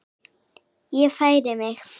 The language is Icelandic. Ég færi mig.